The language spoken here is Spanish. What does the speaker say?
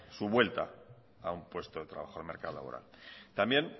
su vuelta a un puesto de trabajo en el mercado laboral también